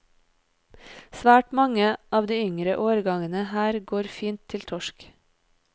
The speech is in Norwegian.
Svært mange av de yngre årgangene her går fint til torsk.